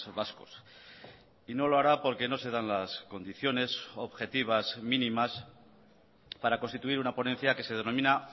vascos y no lo hará porque no se dan las condiciones objetivas mínimas para constituir una ponencia que se denomina